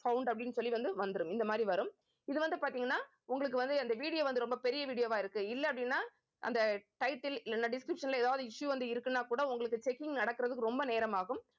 found அப்படின்னு சொல்லி வந்து வந்துரும் இந்த மாதிரி வரும் இது வந்து பார்த்தீங்கன்னா உங்களுக்கு வந்து அந்த video வந்து ரொம்ப பெரிய video வா இருக்கு இல்லை அப்படின்னா அந்த title இல்லேன்னா description ல ஏதாவது issue வந்து இருக்குன்னா கூட உங்களுக்கு checking நடக்குறதுக்கு ரொம்ப நேரம் ஆகும்